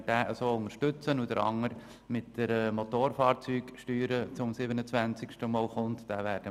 In der ersten Lesung werden wir den Eventualantrag Haas unterstützen.